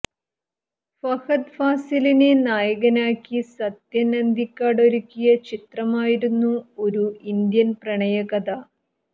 ഫഹദ് ഫാസിലിനെ നായകനാക്കി സത്യന് അന്തിക്കാട് ഒരുക്കിയ ചിത്രമായിരുന്നു ഒരു ഇന്ത്യന് പ്രണയ കഥ